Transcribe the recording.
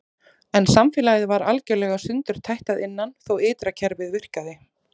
En samfélagið var algjörlega sundurtætt að innan þótt ytra kerfið virkaði.